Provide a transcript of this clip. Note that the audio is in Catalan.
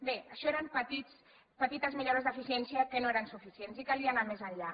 bé això eren petites millores d’eficiència que no eren suficients i calia anar més enllà